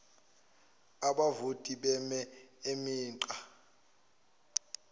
abavoti beme imigqa